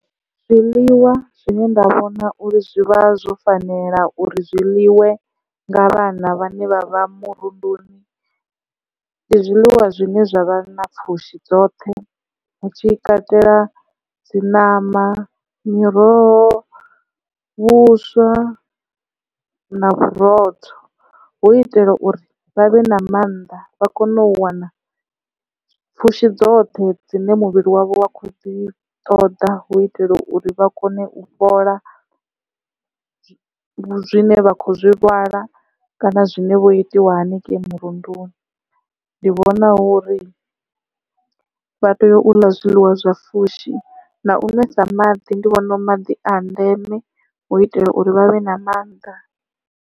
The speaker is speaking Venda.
Zwiḽiwa zwine nda vhona uri zwi vha zwo fanela uri zwiḽiwe nga vhana vhane vha vha murunduni, ndi zwiḽiwa zwine zwavha na pfhushi dzoṱhe hu tshi katela dzi ṋama miroho vhuswa na vhurotho, hu uitela uri vha vhe na mannḓa vha kone u wana pfhushi dzoṱhe dzine muvhili wavho wa kho dzi ṱoḓa, hu uitela uri vha kone u fhola zwine vha khou zwi lwala kana zwine vho itiwa haningei murunduni. Ndi vhona hu uri vha tea u ḽa zwiḽiwa zwa fushi na u ṅwesa maḓi ndi vhona maḓi a ndeme hu itela uri vhavhe na mannḓa.